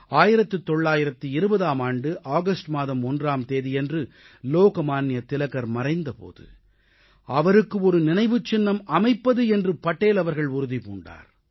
1920ஆம் ஆண்டு ஆகஸ்ட் மாதம் 1ஆம் தேதியன்று லோக்மான்ய திலகர் மறைந்த போது அவருக்கு நினைவுச் சின்னம் அமைப்பது என்று படேல் அவர்கள் உறுதி பூண்டார்